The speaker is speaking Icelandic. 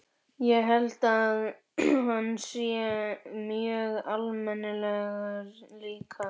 Ég held að hann sé mjög almennilegur líka.